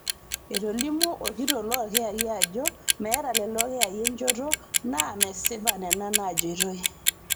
Etolimuo orkitok loo ilkiyia ajo meeta lelo kiyai enchoto naa mesipa nena naajeitoi